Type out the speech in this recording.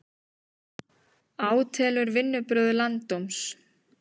Átelur vinnubrögð landsdóms